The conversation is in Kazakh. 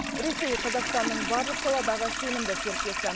ресей қазақстанның барлық саладағы сенімді серіктесі